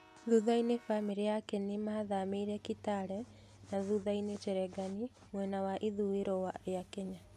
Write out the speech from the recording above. Thutha-inĩ, bamĩrĩ yake nĩ mathamĩire Kitale na thutha-inĩ Cherangany mwena wa ithũiro rĩa Kenya.